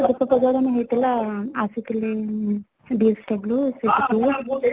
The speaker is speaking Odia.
ଦୀପ ପ୍ରଜ୍ବଳନ ହେଇ ଥିଲା ତ ଆସିଥିଲେ DSW ସେଠିକୁ